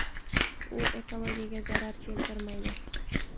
U ekologiyaga zarar keltirmaydi.